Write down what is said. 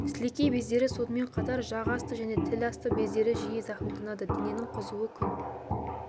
сілекей бездері сонымен қатар жақ асты және тіл асты бездері жиі зақымданады дененің қызуы күн